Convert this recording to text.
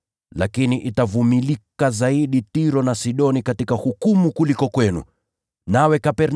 Lakini itakuwa rahisi zaidi kwa Tiro na Sidoni kustahimili katika siku ya hukumu, kuliko ninyi.